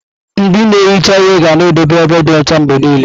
Ndị na-ehicha ihe ga na-edobe ebe dị ọcha mgbe niile.